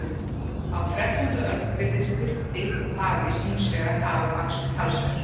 Á þrettándu öld virðist kuldi og hafís hins vegar hafa vaxið talsvert.